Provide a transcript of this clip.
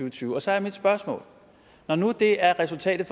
og tyve og så er mit spørgsmål når nu det er resultatet